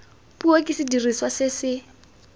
puo ke sediriswa se se